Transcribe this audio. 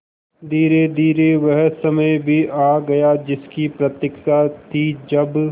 धीरेधीरे वह समय भी आ गया जिसकी प्रतिक्षा थी जब